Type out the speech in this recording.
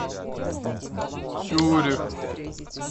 цюрих